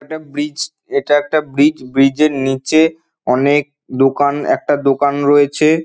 এটা ব্রিজ এটা একটা ব্রিজ । ব্রিজ -এর নিচে অনেক দোকান একটা দোকান রয়েছে।